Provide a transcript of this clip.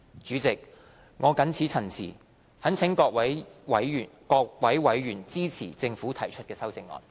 主席，我謹此陳辭，懇請各位委員支持政府提出的修正案。